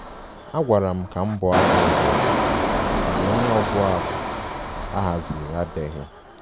A gwara m ka m bụo abụ ọdịnala mgbe onye ọbụ abụ a haziri abịaghị